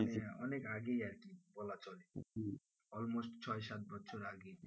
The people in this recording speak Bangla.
আহ অনেক আগেই আরকি বলা চলে almost ছয় সাত বছর আগে,